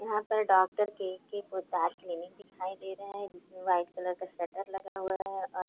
यहाँ पर doctor K K Ghurdas clinic दिखाई दे रहा है जिसमे व्हाइट कलर का शटर लगा हुआ है।